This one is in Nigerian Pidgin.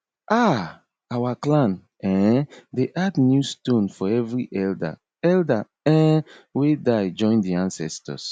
um our clan um dey add new stone for every elder elder um wey die join di ancestors